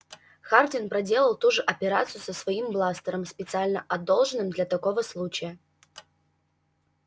хардин проделал ту же операцию со своим бластером специально одолжённым для такого случая